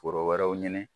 Foro wɛrɛw ɲini